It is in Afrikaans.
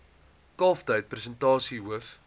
kalftyd persentasie hoof